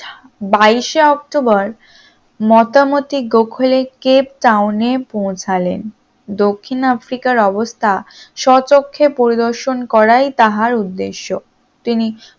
বাইশ শে অক্টোবর মতামতিক গোখেলে কেপটাউনে পৌঁছালেন দক্ষিণ আফ্রিকার অবস্থা স্বচক্ষে পরিদর্শন করায় তাহার উদ্দেশ্যে তিনি